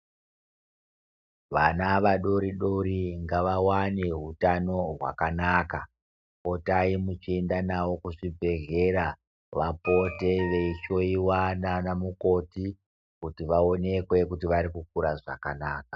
Vana vadoridori ngavawane hutano hwakanaka. Potai muchienda navo kuzvibhehlera vapote veihloyiwa naanamukoti kuti vaonekwe kuti varikukura zvakanaka.